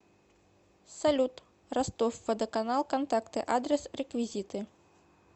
салют ростов водоканал контакты адрес реквизиты